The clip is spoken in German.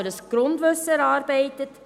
Ich habe mir ein Grundwissen erarbeitet.